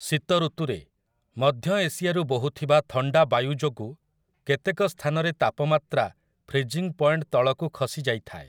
ଶୀତ ଋତୁରେ, ମଧ୍ୟ ଏସିଆରୁ ବୋହୁଥିବା ଥଣ୍ଡା ବାୟୁ ଯୋଗୁ କେତେକ ସ୍ଥାନରେ ତାପମାତ୍ରା ଫ୍ରୀଜିଂ ପଏଣ୍ଟ ତଳକୁ ଖସି ଯାଇଥାଏ ।